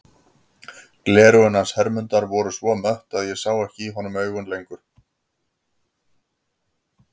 Gleraugun hans Hermundar voru svo mött að ég sá ekki í honum augun lengur.